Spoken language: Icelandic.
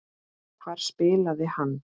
Hvar spilaði hann?